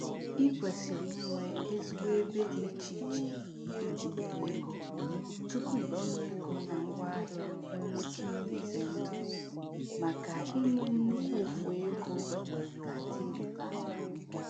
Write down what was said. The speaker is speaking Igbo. I kwesịrị inwe ezigbo ebe dị iche iche itinyere ego tupu itinye ego na ngwaahịa nwere oke ihe ize ndụ maka i nwe nnukwu ụfụ ego ga dị ịrịbama.